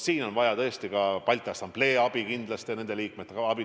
Siin on vaja kindlasti ka Balti Assamblee liikmete abi.